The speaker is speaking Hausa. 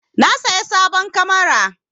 Na saya sabon kamara.